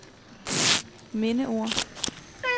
mindeord